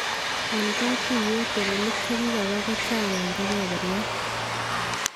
En katuyeet teleliik chekibaa ko chang en kebeberyat